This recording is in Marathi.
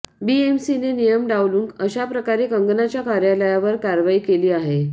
बीएमसीने नियम डावलून अशाप्रकारे कंगनाच्या कार्यालयावर कारवाई केली आहे